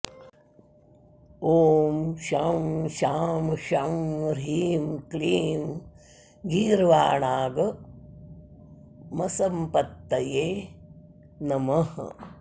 ॐ शं शां षं ह्रीं क्लीं गीर्वाणागमसम्पत्तये नमः